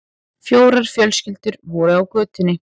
Fjórar fjölskyldur voru á götunni.